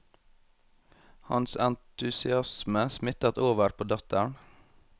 Hans entusiasme smittet over på datteren.